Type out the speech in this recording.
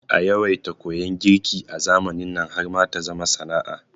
Aya yawaita koyan girki a zamanin nan har ma ta zama sana'a